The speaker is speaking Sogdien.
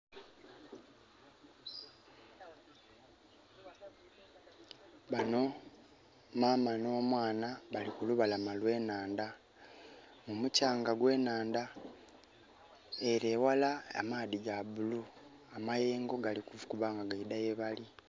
Bano maama n'omwana bali kulubalama lw'enhandha. Mumukyanga gw'enhanda. Ele eghala amaadhi ga blue. Amayengo gali kukuba nga gaidha yebali.